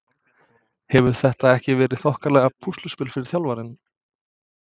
Hefur þetta ekki verið þokkalegt púsluspil fyrir þjálfarann?